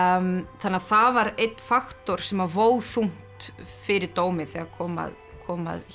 þannig að það var einn faktor sem vó þungt fyrir dómi þegar kom að kom að